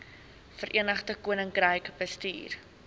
verenigde koninkryk bestuur